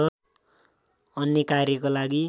अन्य कार्यको लागि